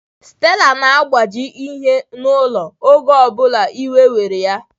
Stella na-agbaji ihe n'ụlọ, oge ọ bụla iwe were ya